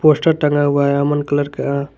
Poster टंगा हुआ है अमन कलर का।